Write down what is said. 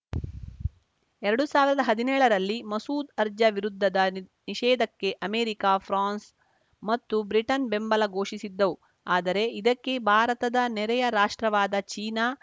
ಎರಡು ಸಾವಿರದ ಹದೀನೇಳರಲ್ಲಿ ಮಸೂದ್‌ ಅರ್ಜಾ ವಿರುದ್ಧದ ನಿಷೇಧಕ್ಕೆ ಅಮೆರಿಕ ಫ್ರಾನ್ಸ್‌ ಮತ್ತು ಬ್ರಿಟನ್‌ ಬೆಂಬಲ ಘೋಷಿಸಿದ್ದವು ಆದರೆ ಇದಕ್ಕೆ ಭಾರತದ ನೆರೆಯ ರಾಷ್ಟ್ರವಾದ ಚೀನಾ